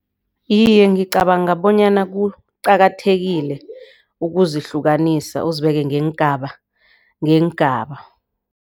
Iye, ngicabanga bonyana kuqakathekile ukuzihlukanisa uzibeke ngeengaba ngeengaba.